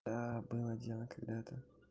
да было дело когда-то